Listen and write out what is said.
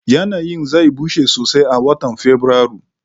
Yanayin zai bushe sosai a watan Fabrairu